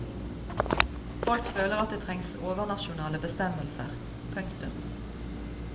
Folk føler at det trengs overnasjonale bestemmelser. punktum